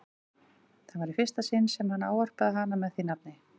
Það var í fyrsta sinn sem hann ávarpaði hana með því nafni.